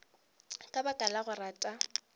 ka baka la go rata